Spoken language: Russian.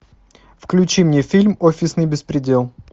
включи мне фильм офисный беспредел